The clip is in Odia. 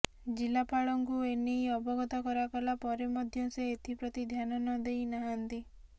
ଜିଲ୍ଲାପାଳଙ୍କୁ ଏ ନେଇ ଅବଗତ କରାଗଲା ପରେ ମଧ୍ୟ ସେ ଏଥିପ୍ରତି ଧ୍ୟାନ ନଦେଇ ନାହାନ୍ତି